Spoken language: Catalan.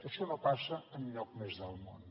això no passa enlloc més del món